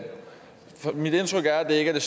det